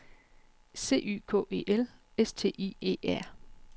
C Y K E L S T I E R